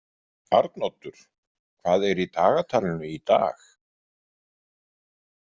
Arnoddur, hvað er í dagatalinu í dag?